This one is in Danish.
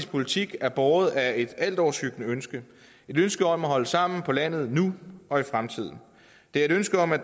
politik er båret af et altoverskyggende ønske et ønske om at holde sammen på landet nu og i fremtiden det er et ønske om at